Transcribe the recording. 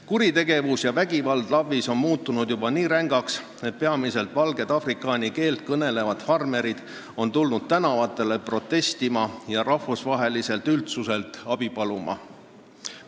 Kuritegevus ja vägivald LAV-is on muutunud juba nii rängaks, et peamiselt valged afrikaani keelt kõnelevad farmerid on tulnud tänavatele protestima ja rahvusvaheliselt üldsuselt abi paluma.